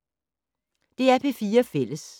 DR P4 Fælles